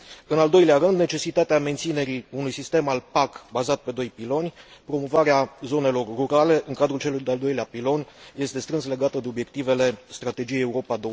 În al doilea rând, necesitatea menținerii unui sistem al PAC bazat pe doi piloni, promovarea zonelor rurale în cadrul celui de al doilea pilon, este strâns legată de obiectivele Strategiei Europa